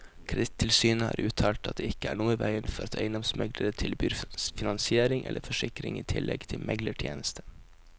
Kredittilsynet har uttalt at det ikke er noe i veien for at eiendomsmeglere tilbyr finansiering eller forsikring i tillegg til meglertjenestene.